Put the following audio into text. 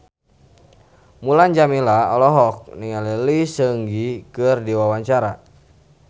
Mulan Jameela olohok ningali Lee Seung Gi keur diwawancara